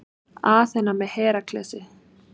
Aþena með Heraklesi.